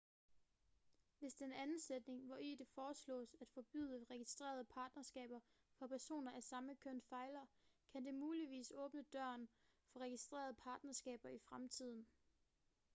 hvis den anden sætning hvori det foreslås at forbyde registrerede partnerskaber for personer af samme køn fejler kan det muligvis åbne døren for registrerede partnerskaber i fremtiden